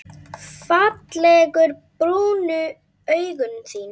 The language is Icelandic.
Fallegu brúnu augun þín.